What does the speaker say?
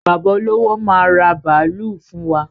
Bàbá olówó máa ra bàálú fún wa.